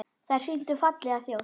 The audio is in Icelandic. Þær sýndu fallega þjóð.